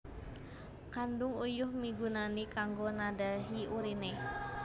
Kandhung Uyuh migunani kanggo nadhahi urine